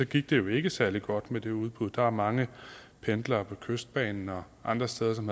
gik det jo ikke særlig godt med det udbud der er mange pendlere på kystbanen og andre steder som